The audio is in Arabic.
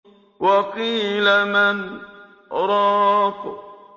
وَقِيلَ مَنْ ۜ رَاقٍ